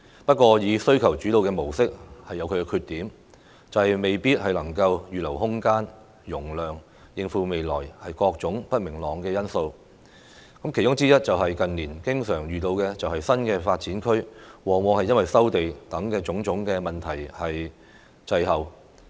不過，需求主導的模式有其缺點，未必能夠預留空間和容量，面對未來各種不明朗的因素。因素之一，是近年經常遇到的新發展區發展，往往因收地等種種問題滯後。